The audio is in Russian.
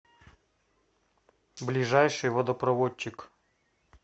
ближайший водопроводчик